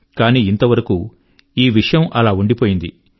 కానీ ఇంతవరకు ఈ విషయం అలా ఉండిపోయింది